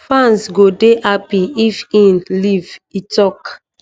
fans go dey happy if im leave e tok